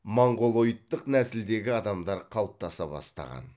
монғолоидтық нәсілдегі адамдар қалыптаса бастаған